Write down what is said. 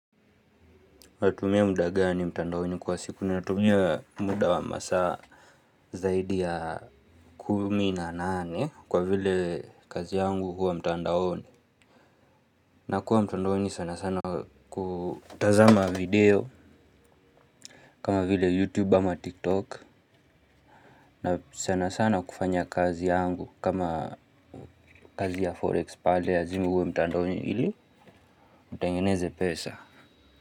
Natumia muda gani mtandaoni kwa siku natumia muda wa masaa zaidi ya kumi na nane kwa vile kazi yangu huwa mtandaoni. Na kuwa mtandaoni sana sana kutazama video kama vile youtube ama tiktok na sana sana kufanya kazi yangu kama kazi ya forex pale lazima uwe mtandaoni ili mtengeneze pesa.